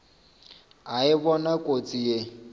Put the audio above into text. a e bona kotsi ye